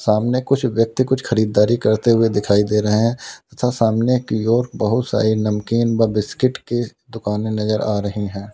सामने कुछ व्यक्ति कुछ खरीदारी करते हुए दिखाई दे रहे हैं तथा सामने की ओर बहुत सारी नमकीन व बिस्किट के दुकानें नजर आ रही हैं।